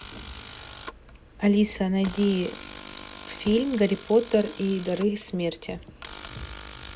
алиса найди фильм гарри поттер и дары смерти